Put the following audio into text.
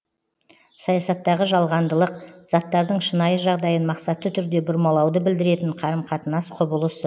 саясаттағы жалғандылық заттардың шынайы жағдайын мақсатты түрде бұрмалауды білдіретін қарым қатынас құбылысы